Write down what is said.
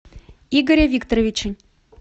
игоря викторовича